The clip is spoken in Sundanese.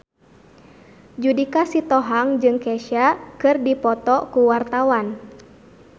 Judika Sitohang jeung Kesha keur dipoto ku wartawan